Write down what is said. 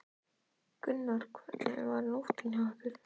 Gunnar: Hvernig var nóttin hjá ykkur?